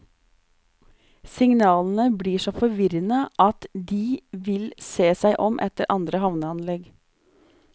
Signalene blir så forvirrende at de vil se seg om etter andre havneanlegg.